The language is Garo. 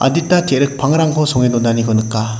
dita te·rik pangrangko songe donaniko nika.